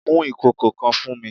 Mu ikoko kan fun mi!